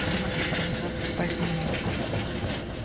без матери он назад попасть не мог